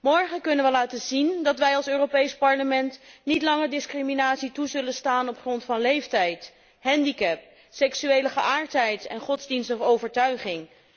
Morgen kunnen we laten zien dat wij als Europees Parlement niet langer discriminatie zullen toestaan op grond van leeftijd, handicap, seksuele geaardheid of godsdienstige overtuiging.